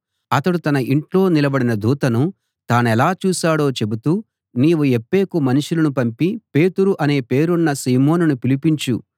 అతడు తన యింట్లో నిలబడిన దూతను తానెలా చూశాడో చెబుతూ నీవు యొప్పేకు మనుషులను పంపి పేతురు అనే పేరున్న సీమోనును పిలిపించు